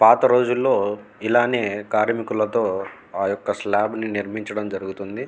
పాతరోజుల్లో ఇలానే కర్మికులతో ఆయొక్క స్లాబ్ ను నిర్మించడం జరుగుతుంది.